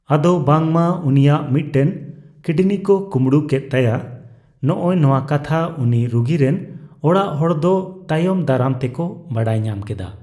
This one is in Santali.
ᱟᱫᱚ ᱵᱟᱝᱢᱟ ᱩᱱᱤᱭᱟᱜ ᱢᱮᱫᱴᱮᱱ ᱠᱤᱰᱱᱤ ᱠᱚ ᱠᱳᱢᱲᱳ ᱠᱮᱜ ᱛᱟᱭᱟ ᱦᱚᱜᱼᱚᱭ ᱱᱚᱣᱟ ᱠᱟᱛᱷᱟ ᱩᱱᱤ ᱨᱩᱜᱤ ᱨᱮᱱ ᱚᱲᱟᱜ ᱦᱚᱲ ᱫᱚ ᱛᱟᱭᱚᱢ ᱫᱟᱨᱟᱢ ᱛᱮᱠᱚ ᱵᱟᱰᱟᱭ ᱧᱟᱢ ᱠᱮᱫᱟ ᱾